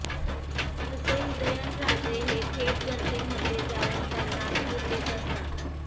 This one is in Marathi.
तसे उदयनराजे हे थेट जनतेमध्ये जाऊन त्यांना धीर देत असतात